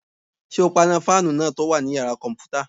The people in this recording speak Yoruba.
Ṣé o paná fáànù náà tó wà ní yàrá-kọ̀mpútà?